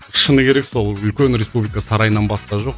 шыны керек сол үлкен республика сарайынан басқа жоқ